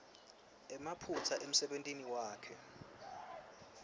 emaphutsa emsebentini wakhe